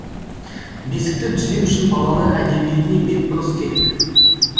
бесікті түзеу үшін балалар әдебиетіне бетбұрыс керек